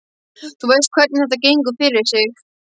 Þú veist hvernig þetta gengur fyrir sig.